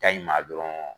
Ta in ma dɔrɔn